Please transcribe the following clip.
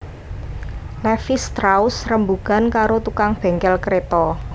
Levis strauss rembugan karo tukang bengkel kreta